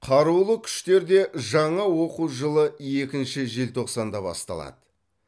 қарулы күштерде жаңа оқу жылы екінші желтоқсанда басталады